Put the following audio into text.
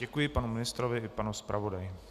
Děkuji panu ministrovi i panu zpravodaji.